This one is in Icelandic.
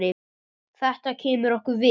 Þetta kemur okkur við.